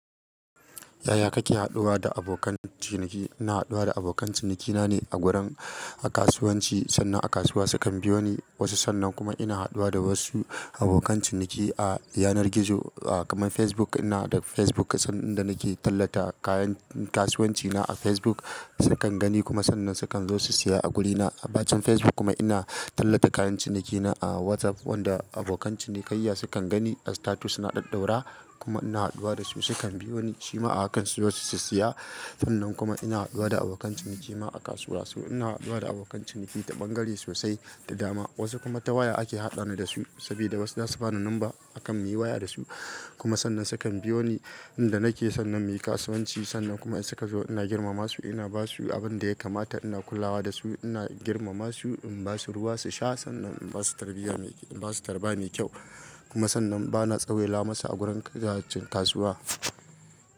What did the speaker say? Yaya kake haɗuwa da abokan ciniki? Ina haɗuwa da abokan cinikina ne a gurin, a kasuwanci sannan a kasuwa sukan biyo ni wasu. Sannan kuma ina haɗuwa da wasu abokan ciniki a yanar gizo, kamar Facebook. Ina da Facebook, sanda nake tallata kayan kasuwanci na a Facebook sukan gani kuma sannan sukan zo su saya a guri na. A bacin Facebook kuma ina tallata kayan ciniki na a WhatsApp wanda abokan cinikayya sukan gani a status na ɗaɗaura kuma ina haɗuwa da su. Su kan biyo ni cima a kan su zo su siya. Sannan kuma ina haɗuwa da abokan ciniki ma a kasuwa. So ina haɗuwa da abokan ciniki ta bangare sosai, ta dama. Wasu kuma ta waya ake haɗani da su saboda wasu zasu bani number akan muyi waya da su kuma sannan sukan biyo ni inda nake. Sannan muyi kasuwanci sannan kuma in suka zo ina girmama su, ina ba su abin da ya kamata, ina kulawa da su, ina girmama su, in ba su ruwa su sha sannan in ba su tarbiya, in ba su tarbiya mai kyau kuma sannan bana tsawela masu a gurin kajin kasuwa.